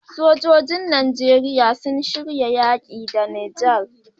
Sojojin nigeria sun shirya yaki da niger